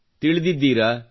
ತಿಳಿದಿದ್ದೀರಾ